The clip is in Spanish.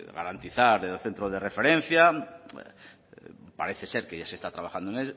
garantizar el centro de referencia parece ser que ya se está trabajando